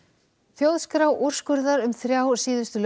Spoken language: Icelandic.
þjóðskrá úrskurðar um þrjá síðustu